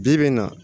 Bi bi in na